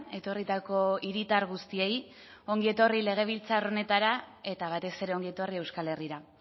etorritako hiritar guztiei ongi etorri legebiltzar honetara eta batez ere ongi etorri euskal herrira